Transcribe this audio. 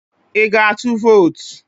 I ga-atụ vot?